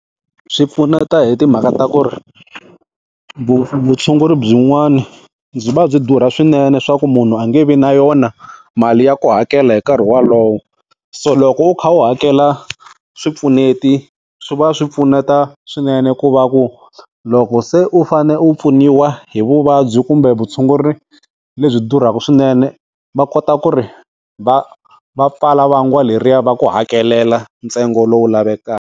Swi pfuneta hi timhaka ta ku ri vutshunguri byin'wana byi va byi durha swinene swa ku munhu a nge vi na yona mali ya ku hakela hi nkarhi wolowo, so loko u kha u hakela swipfuneti swi va swi pfuneta swinene ku va ku loko se u fane u pfuniwa hi vuvabyi kumbe vutshunguri lebyi durhaka swinene va kota ku ri va va pfala vangwa leriya va ku hakelela ntsengo lowu lavekaka.